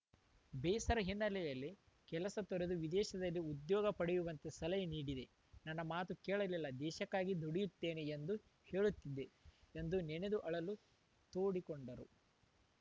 ಬೇಸರ ಹಿನ್ನೆಲೆಯಲ್ಲಿ ಕೆಲಸ ತೊರೆದು ವಿದೇಶದಲ್ಲಿ ಉದ್ಯೋಗ ಪಡೆಯುವಂತೆ ಸಲಹೆ ನೀಡಿದೆ ನನ್ನ ಮಾತು ಕೇಳಲಿಲ್ಲ ದೇಶಕ್ಕಾಗಿ ದುಡಿಯುತ್ತೇನೆ ಎಂದು ಹೇಳುತ್ತಿದ್ದೆ ಎಂದು ನೆನೆದು ಅಳಲು ತೋಡಿಕೊಂಡರು